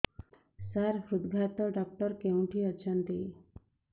ସାର ହୃଦଘାତ ଡକ୍ଟର କେଉଁଠି ଅଛନ୍ତି